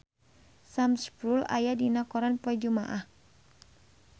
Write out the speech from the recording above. Sam Spruell aya dina koran poe Jumaah